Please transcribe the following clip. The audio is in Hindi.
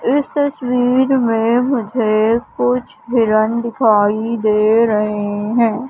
इस तस्वीर में मुझे कुछ हिरण दिखाई दे रहे हैं।